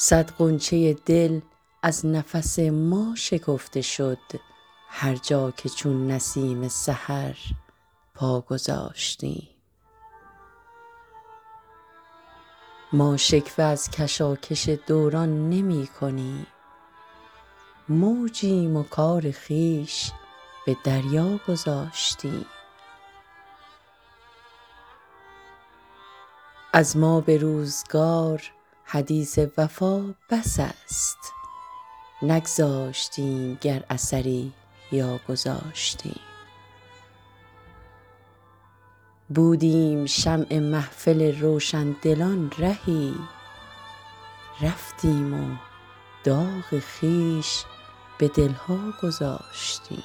گذاشتیم صد غنچه دل از نفس ما شکفته شد هرجا که چون نسیم سحر پا گذاشتیم ما شکوه از کشاکش دوران نمی کنیم موجیم و کار خویش به دریا گذاشتیم از ما به روزگار حدیث وفا بس است نگذاشتیم گر اثری یا گذاشتیم بودیم شمع محفل روشندلان رهی رفتیم و داغ خویش به دل ها گذاشتیم